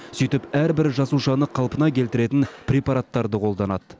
сөйтіп әрбір жасушаны қалпына келтіретін препараттарды қолданады